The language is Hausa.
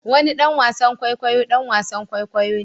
Wani ɗan wasan kwaikwayo ɗan wasan kwaikwayo ne